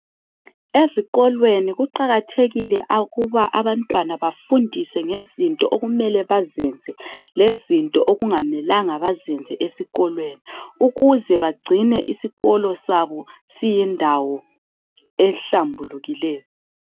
Ezikolweni kuqakathekile ukuba abantwana bafundiswe ngezinto okumele baziyenze lezinto okungamelanga bazenze ukuze bagcine isikolo sabo siyindawo ehlambukileyo